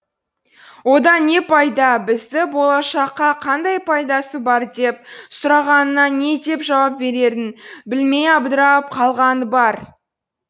одан не пайда бізді болашаққа қандай пайдасы бар деп сұрағанына не деп жауап берерін білмей абдырап қалғаны бар